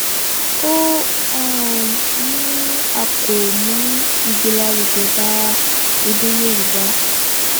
ó um ní a kò mú ìgbélárugẹ bá èdè yorùbá